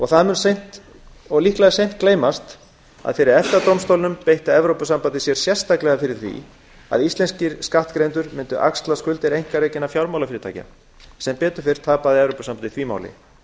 það mun líklega seint gleymast að fyrir efta dómstólnum beitti evrópusambandið sér sérstaklega fyrir því að íslenskir skattgreiðendur öxluðu skuldir einkarekinna fjármálafyrirtækja sem betur fer tapaði evrópusambandið því máli